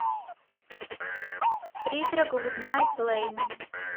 призрак гуднайт лэйн